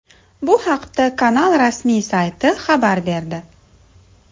Bu haqda kanal rasmiy sayti xabar berdi .